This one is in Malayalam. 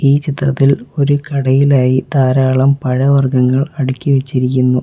ഈ ചിത്രത്തിൽ ഒരു കടയിലായി ധാരാളം പഴവർഗ്ഗങ്ങൾ അടുക്കിവെച്ചിരിക്കുന്നു.